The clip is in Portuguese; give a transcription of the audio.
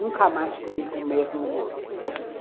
Nunca mais comi com o mesmo gosto.